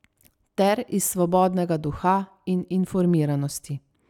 Ter iz svobodnega duha in informiranosti.